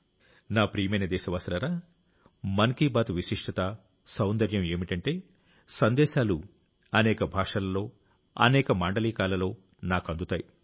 నా ప్రియమైన దేశవాసులారా మన్ కీ బాత్ విశిష్టత సౌందర్యం ఏమిటంటే మీ సందేశాలు అనేక భాషలలో అనేక మాండలికాలలో నాకు అందుతాయి